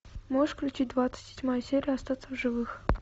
можешь включить двадцать седьмая серия остаться в живых